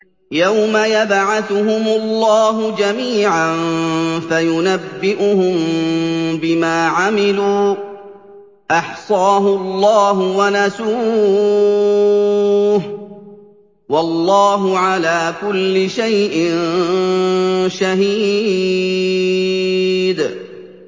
يَوْمَ يَبْعَثُهُمُ اللَّهُ جَمِيعًا فَيُنَبِّئُهُم بِمَا عَمِلُوا ۚ أَحْصَاهُ اللَّهُ وَنَسُوهُ ۚ وَاللَّهُ عَلَىٰ كُلِّ شَيْءٍ شَهِيدٌ